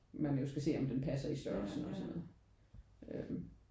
Man jo skal se om den passer i størrelsen og sådan noget øh